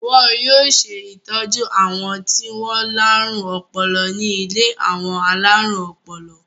Wọn yóò ṣe ìtọ́jú àwọn tí wọ́n láárùn ọpọlọ ní ilé àwọn alárùn ọpọlọ.